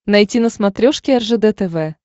найти на смотрешке ржд тв